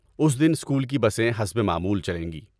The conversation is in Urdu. اس دن اسکول کی بسیں حسب معمول چلیں گی۔